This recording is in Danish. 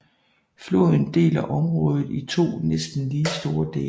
Floden deler området i to næsten lige store dele